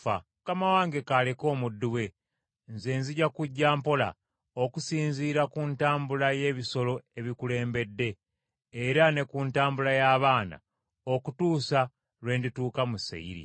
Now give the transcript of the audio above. Mukama wange k’aleke omuddu we, nze nzija kujja mpola, okusinziira ku ntambula y’ebisolo ebikulembedde, era ne ku ntambula y’abaana, okutuusa lwe ndituuka mu Seyiri.”